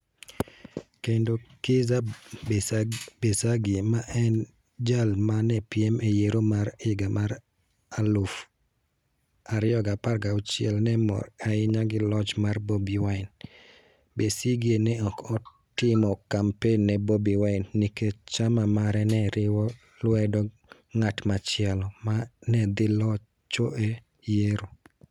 Kendo Kizza Besigye, ma ne en jal ma ne piem e yiero mar 2016 ne mor ahinya gi loch mar Bobi Wine; Besigye ne ok otimo kampen ne Bobi Wine nikech chama mare ne riwo lwedo ng'at machielo ma ne dhi locho e yiero: